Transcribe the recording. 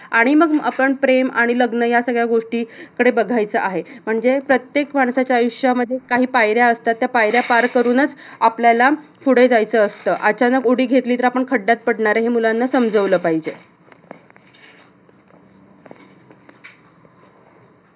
आणि मग आपण प्रेम आणि लग्न ह्यासगळ्या गोष्टी कडे बघायचं आहे. म्हणजे प्रत्येक माणसाच्या आयुष्यामध्ये काही पायऱ्या असतात. त्या पायऱ्या पार करूनच आपल्याला पुढे जायचं असतं. अचानक उडी घेतली तर आपण खड्ड्यात पडणार हे मुलांना समजावलं पाहिजे.